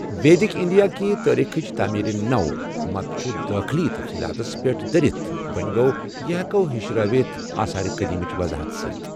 ویدک India کہِ تاریخٕچ تعمیرِ نَومت چھُ دٲخلی تفصیلاتس پٮ۪ٹھ دٔرِتھ، وۅں گوٚو یہ ہٮ۪کو ہِشرٲوِتھ آثار قدیمہٕچ وضاحت سۭتۍ۔